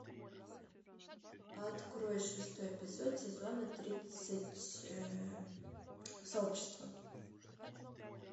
открой шестой эпизод сезона тридцать сообщество